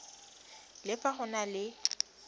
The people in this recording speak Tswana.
le fa go na le